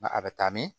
a bɛ taa min